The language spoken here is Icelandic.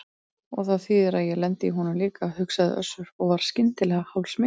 Og það þýðir að ég lendi í honum líka, hugsaði Össur og varð skyndilega hálfsmeykur.